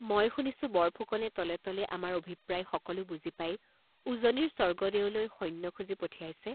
মই শুনিছোঁ বৰফুকনে তলে তলে আমাৰ অভিপ্ৰায় সকলো বুজি পাই উজনিৰ স্বৰ্গদেৱলৈ সৈন্য খুজি পঠিয়াইছে।